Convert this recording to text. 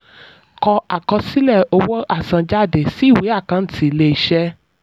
kọ àkọsílẹ̀ owó àsanjáde sí ìwé àkántì ilé-iṣẹ́.